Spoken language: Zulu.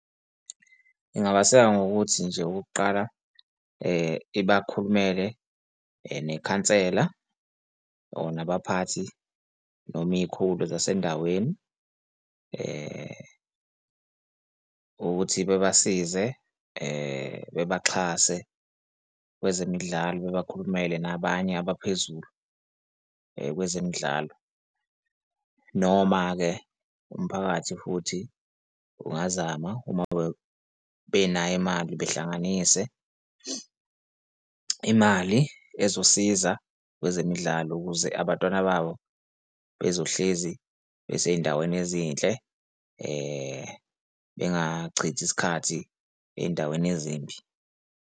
Ingabaseka ngokuthi nje okokuqala ibakhulumele nekhansela, or nabaphathi noma izikhulu zasendaweni, ukuthi bebasize bebaxhase kwezemidlalo, babakhulumele nabanye abaphezulu kwezemidlalo. Noma-ke umphakathi futhi ungazama uma benayo imali behlanganise imali ezosiza kwezemidlalo ukuze abantwana babo bezohlezi besey'ndaweni ezinhle bengachithi isikhathi ey'ndaweni ezimbi.